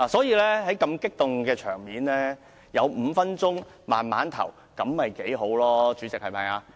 如此激動的場面，有5分鐘時間慢慢投票會較好，不是嗎？